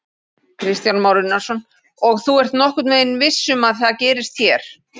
Kristján Már Unnarsson: Og þú ert nokkurn veginn viss um að það gerist hér?